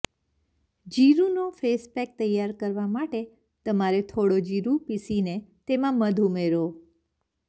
જીરુંનો face pack તૈયાર કરવા માટે તમારે થોડો જીરું પીસીને તેમાં મધ ઉમેરો